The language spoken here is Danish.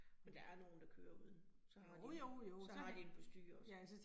Men der er nogen, der kører uden. Så har de den, så har de den på styret